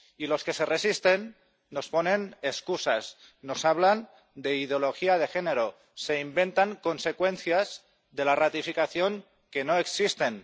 Y los que se resisten nos ponen excusas, nos hablan de ideología de género, se inventan consecuencias de la ratificación que no existen.